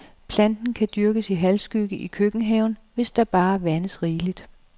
Planten kan dyrkes i halvskygge i køkkenhaven, hvis der bare vandes rigeligt.